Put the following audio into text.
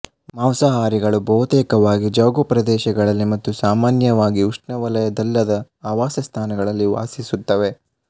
ಮಾಂಸಾಹಾರಿಗಳು ಬಹುತೇಕವಾಗಿ ಜೌಗು ಪ್ರದೇಶಗಳಲ್ಲಿ ಮತ್ತು ಸಾಮಾನ್ಯವಾಗಿ ಉಷ್ಣವಲಯದ್ದಲ್ಲದ ಆವಾಸಸ್ಥಾನಗಳಲ್ಲಿ ವಾಸಿಸುತ್ತವೆ